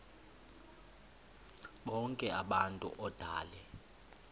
bonk abantu odale